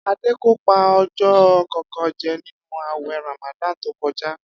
Adé kò pa o̩jó̩ kànkan je̩ nínú àwè̩ Ramadan tó ko̩já